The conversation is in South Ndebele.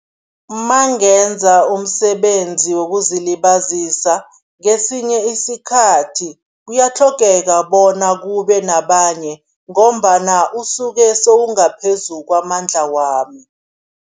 Mangenza umsebenzi wokuzilibazisa, ngesinye isikhathi kuyatlhogeka bona kube nabanye ngombana usuke sowungaphezu kwamandla wami.